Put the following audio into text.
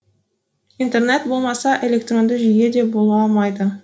интернет болмаса электронды жүйе де бола алмайды